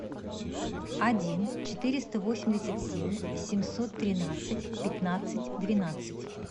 один четыреста восемьдесят семь семьсот тринадцать пятнадцать двенадцать